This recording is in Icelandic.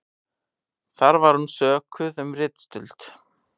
Þar var hún sökuð um ritstuld